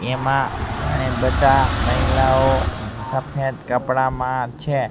એમા ઘણી બધા મહિલાઓ સફેદ કપડામાં છે.